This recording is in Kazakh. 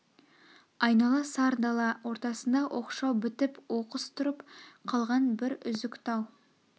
айнала сар дала ортасында оқшау бітіп оқыс тұрып қалған бір үзік тау